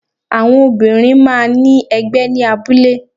Àwọn Obìnrin máa ní ẹgbẹ́ ní abúlé